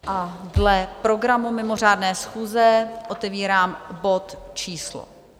A dle programu mimořádné schůze otevírám bod číslo